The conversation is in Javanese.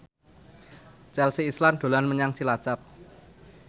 Chelsea Islan dolan menyang Cilacap